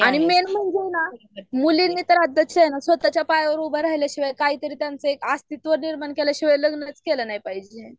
आणि मेन म्हणजे हाय ना मुलींनी तर आत्ताच्या स्वताच्या पायावर उभा रहल्या शिवाय काय तरी त्यांच एक अस्तित्व निर्माण केल्या शिवाय लग्नच केलं नाही पाहिजे